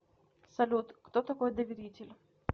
салют кто такой доверитель